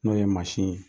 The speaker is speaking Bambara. N'o ye mansin ye